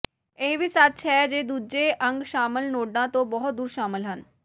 ਇਹ ਵੀ ਸੱਚ ਹੈ ਜੇ ਦੂਜੇ ਅੰਗ ਸ਼ਾਮਲ ਨੋਡਾਂ ਤੋਂ ਬਹੁਤ ਦੂਰ ਸ਼ਾਮਲ ਹਨ